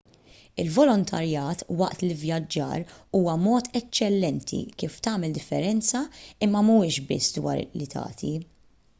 il-volontarjat waqt l-ivvjaġġar huwa mod eċċellenti kif tagħmel differenza imma m'huwiex biss dwar li tagħti